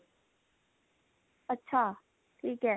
ਅੱਛਾ ਠੀਕ ਐ